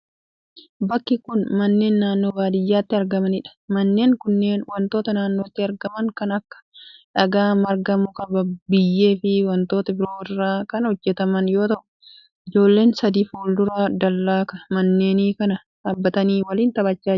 Bakki kun, manneen naannoo baadiyaatti argamanii dha. Manneen kunneen wantoota naannotti argaman kan akka:dhagaa, marga, muka, biyyee fi wantoota biroo irraa kan hojjataman yoo ta'u, ijoolleen sadii fuuldura dallaa manneen kanaa dhaabbatanii waliin taphachaa jiru.